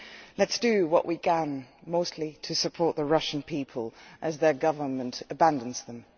Let us do what we can, mostly to support the Russian people as their government abandons them.